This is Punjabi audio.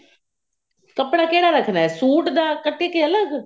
ਕੱਪੜਾ ਕਿਹੜਾ ਰੱਖਣਾ ਸੂਟ ਦਾ ਕੇ ਅਲੱਗ